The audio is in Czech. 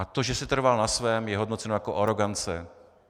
A to, že si trval na svém, je hodnoceno jako arogance.